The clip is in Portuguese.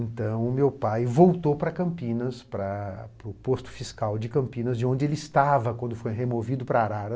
Então, meu pai voltou para Campinas, para para o posto fiscal de Campinas, de onde ele estava quando foi removido para Arara.